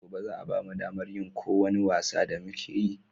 Gobe za a bamu damar yin ko wani wasa da muke so